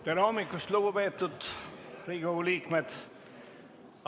Tere hommikust, lugupeetud Riigikogu liikmed!